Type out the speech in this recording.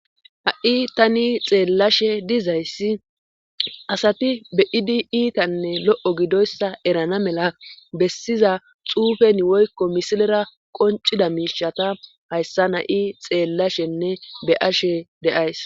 Ha,i tani xeellashe dizayssi asati be idi iitanne lo7o gidoyssa erana mela bessiza xuufen woykko misilera qoncida miishata hayssa na7i xeellashenne be ashe deays